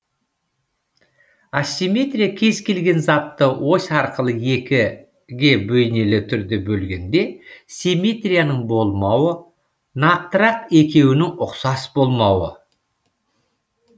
асимметрия кез келген затты ось арқылы екіге бейнелі түрде бөлгенде симетрияның болмауы нақтырақ екеуінің ұқсас болмауы